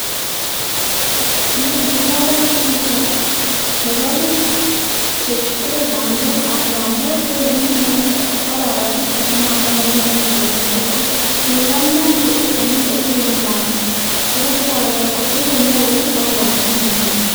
Noni kobaru pichait nebo pik che Ture pandek ara pandeek che ki kimin anyun kobara asista kumatakomuch koechekiti koyamnya anyun kotakomengechem ko mages konyo boiyot kotile mopeek bo kukochi tuga